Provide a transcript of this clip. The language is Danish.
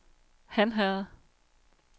Hanherred